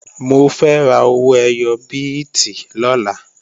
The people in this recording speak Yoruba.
Mo fẹ́ ra owó ẹyọ bíìtì lọ́la